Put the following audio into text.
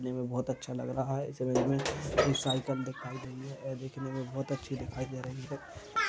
बहुत अच्छा लग रहा है इस इमेज मे सायकल दिखाई दे रही है ये दिखने मे बहुत अच्छी दिखाई दे रही है।